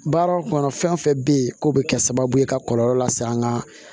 Baara kɔnɔ fɛn fɛn bɛ yen k'o bɛ kɛ sababu ye ka kɔlɔlɔ lase an ka